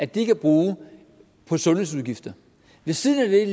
de kan bruge på sundhedsudgifter ved siden af det er